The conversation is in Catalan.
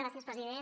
gràcies president